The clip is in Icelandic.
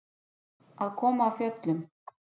Að koma af fjöllum